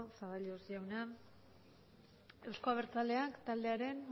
zaballos jauna euzko abertzaleak taldearen